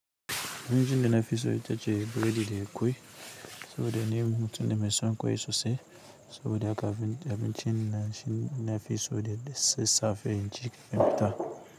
Abincin da na fi so ita ce bredi da ƙwai saboda ni mutum ne mai son ƙwai sosai saboda abincin na fi so da sassafe, inci kamin na fita.